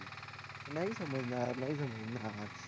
नाही समजणार. नाही समजणार.